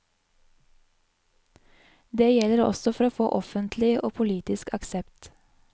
Det gjelder også for å få offentlig og politisk aksept.